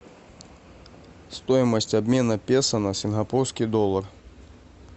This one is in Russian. стоимость обмена песо на сингапурский доллар